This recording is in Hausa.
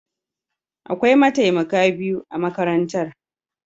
Akwai mataimaka biyu a makarantar.